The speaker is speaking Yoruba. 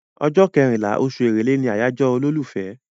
Ọjọ́ kẹrìnlá, oṣù Èrèlé ni àyájọ́ olólùfẹ́.